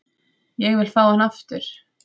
Ég vil fá hann aftur.